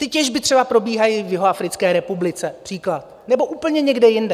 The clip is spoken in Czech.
Ty těžby třeba probíhají v Jihoafrické republice, například, nebo úplně někde jinde.